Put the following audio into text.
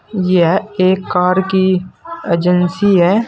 यह एक कार की एजेंसी है।